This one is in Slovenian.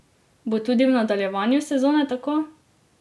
Bo tudi v nadaljevanju sezone tako?